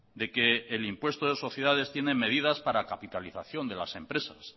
de que el impuesto de sociedades tiene medidas para capitalización de las empresas